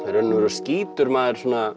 í raun og veru skýtur maður svona